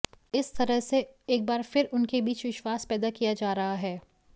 इस तरह से एक बार फिर उनके बीच विश्वास पैदा किया जा रहा है